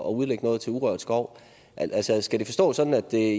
at udlægge noget til urørt skov altså skal det forstås sådan at det